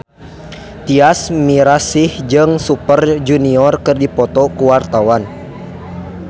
Tyas Mirasih jeung Super Junior keur dipoto ku wartawan